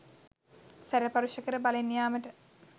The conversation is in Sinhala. සැර පරුෂ කර බලෙන් යාමට